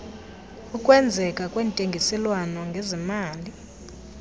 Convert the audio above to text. ukwenzeka kwentengiselwano ngezemali